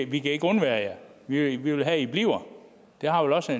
vi kan ikke undvære jer vi vil have at i bliver det har vel også